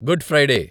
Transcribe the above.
good Friday